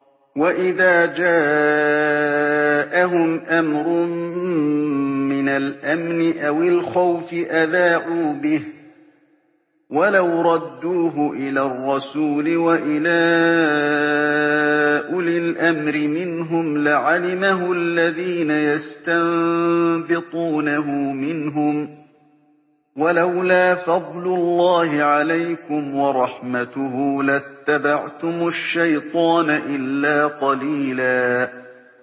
وَإِذَا جَاءَهُمْ أَمْرٌ مِّنَ الْأَمْنِ أَوِ الْخَوْفِ أَذَاعُوا بِهِ ۖ وَلَوْ رَدُّوهُ إِلَى الرَّسُولِ وَإِلَىٰ أُولِي الْأَمْرِ مِنْهُمْ لَعَلِمَهُ الَّذِينَ يَسْتَنبِطُونَهُ مِنْهُمْ ۗ وَلَوْلَا فَضْلُ اللَّهِ عَلَيْكُمْ وَرَحْمَتُهُ لَاتَّبَعْتُمُ الشَّيْطَانَ إِلَّا قَلِيلًا